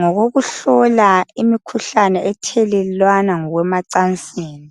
ngokokuhlola imikhuhlane ethelelwana ngokwemacansini.